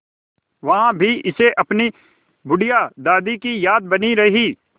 वहाँ भी इसे अपनी बुढ़िया दादी की याद बनी रही